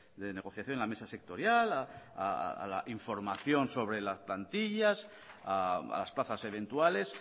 de negociación la mesa sectorial a la información sobre las plantillas a las plazas eventuales